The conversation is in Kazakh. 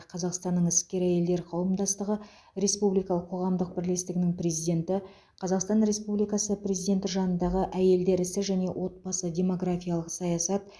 қазақстанның іскер әйелдер қауымдастығы республикалық қоғамдық бірлестігінің президенті қазақстан республикасы президенті жанындағы әйелдер ісі және отбасы демографиялық саясат